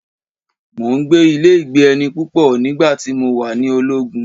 mò ń gbé ilé-ìgbé-ẹni púpọ̀ nígbà tí mo wà ni ológun.